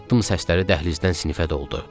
Addım səsləri dəhlizdən sinifə doldu.